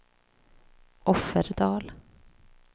Offerdal